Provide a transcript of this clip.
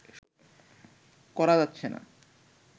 করা যাচ্ছে না